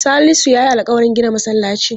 Salisu ya yi alƙawarin gina masallaci.